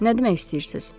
“Nə demək istəyirsiniz?”